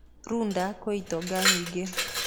Runda kwĩ itonga nyingĩ.